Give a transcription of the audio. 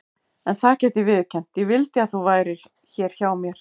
En það get ég viðurkennt: ég vildi að þú værir hér hjá mér.